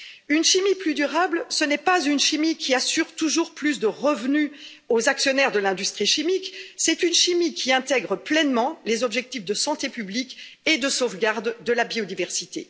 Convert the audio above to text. Une chimie plus durable, ce n'est pas une chimie qui assure toujours plus de revenus aux actionnaires de l'industrie chimique, c'est une chimie qui intègre pleinement les objectifs de santé publique et de sauvegarde de la biodiversité.